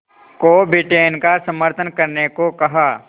को ब्रिटेन का समर्थन करने को कहा